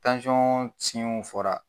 fɔra